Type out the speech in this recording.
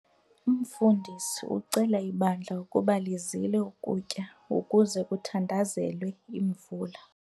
Umfundisi ucele ibandla ukuba lizile ukutya ukuze kuthandazelwe imvula.